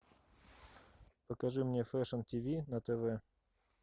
покажи мне фэшн тв на тв